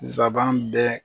Nsaban bɛɛ.